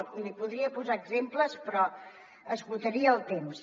i n’hi podria posar exemples però esgotaria el temps